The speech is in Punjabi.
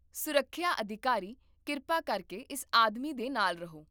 ਸੁਰੱਖਿਆ ਅਧਿਕਾਰੀ, ਕਿਰਪਾ ਕਰਕੇ ਇਸ ਆਦਮੀ ਦੇ ਨਾਲ ਰਹੋ